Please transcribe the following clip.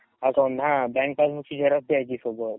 account हा ची xerox द्यायची सोबत